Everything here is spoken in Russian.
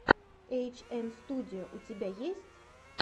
эйчэмстудио у тебя есть